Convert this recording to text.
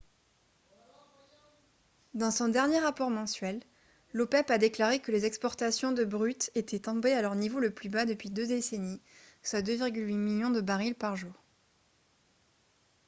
dans son dernier rapport mensuel l'opep a déclaré que les exportations de brut étaient tombées à leur niveau le plus bas depuis deux décennies soit 2,8 millions de barils par jour